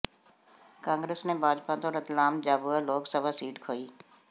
ਕਾਂਗਰਸ ਨੇ ਭਾਜਪਾ ਤੋਂ ਰਤਲਾਮ ਝਾਬੂਆ ਲੋਕ ਸਭਾ ਸੀਟ ਖੋਹੀ